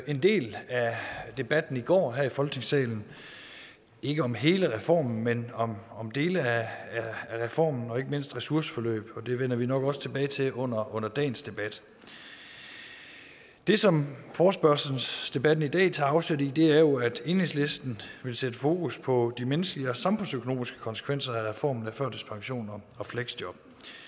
en del af debatten i går her i folketingssalen ikke om hele reformen men om dele af reformen og ikke mindst ressourceforløb og det vender vi nok også tilbage til under under dagens debat det som forespørgselsdebatten i dag tager afsæt i er jo at enhedslisten vil sætte fokus på de menneskelige og samfundsøkonomiske konsekvenser af reformen af førtidspension og fleksjob